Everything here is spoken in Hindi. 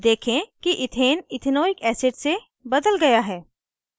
देखें कि इथेन इथेनॉइक acid से बदल गया है